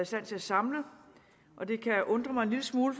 stand til at samle og det kan undre mig en lille smule